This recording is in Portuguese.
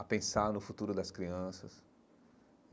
a pensar no futuro das crianças.